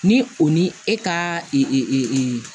Ni o ni e ka